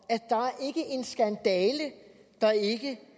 at der ikke er